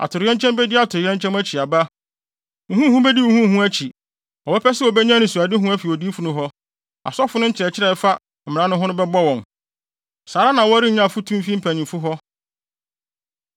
Atoyerɛnkyɛm bedi atoyerɛnkyɛm akyi aba; huhuhuhu bedi huhuhuhu akyi. Wɔbɛpɛ sɛ wobenya anisoadehu afi odiyifo no hɔ, asɔfo no nkyerɛkyerɛ a ɛfa mmara no ho no bɛbɔ wɔn, saa ara na wɔrennya afotu mfi mpanyimfo hɔ.